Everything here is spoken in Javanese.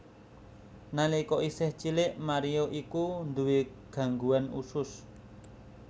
Nalika isih cilik Mario iku nduwé gangguan usus